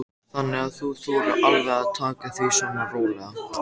Þannig að þú þolir alveg að taka því svona rólega?